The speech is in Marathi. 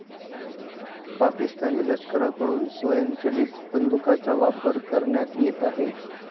पाकिस्तानी लष्कराकडून स्वयंचलित बंदूकांचा वापर करण्यात येत आहे.